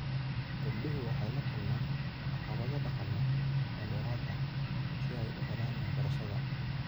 Gabdhuhu waxay la kulmaan caqabado dhaqameed oo dheeraad ah si ay u helaan waxbarashada.